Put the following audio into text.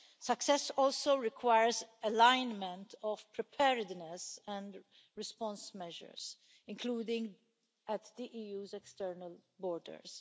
Success also requires alignment of preparedness and response measures, including at the EU's external borders.